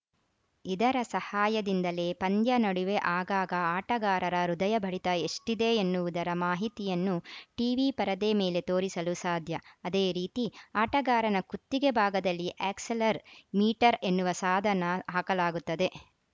ಇದರ ಸಹಾಯದಿಂದಲೇ ಪಂದ್ಯ ನಡುವೆ ಆಗಾಗ ಆಟಗಾರರ ಹೃದಯ ಬಡಿತ ಎಷ್ಟಿದೆ ಎನ್ನುವುದರ ಮಾಹಿತಿಯನ್ನು ಟೀವಿ ಪರದೆ ಮೇಲೆ ತೋರಿಸಲು ಸಾಧ್ಯ ಅದೇ ರೀತಿ ಆಟಗಾರನ ಕುತ್ತಿಗೆ ಭಾಗದಲ್ಲಿ ಆ್ಯಕ್ಸೆಲರ್‌ ಮೀಟರ್‌ ಎನ್ನುವ ಸಾಧನ ಹಾಕಲಾಗುತ್ತದೆ